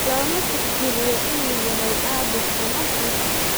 Looma tixgeliyo inuu yahay caabuq ama kansar.